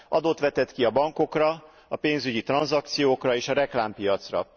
Adót vetett ki a bankokra, a pénzügyi tranzakciókra és a reklámpiacra.